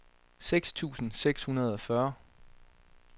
seks tusind seks hundrede og fyrre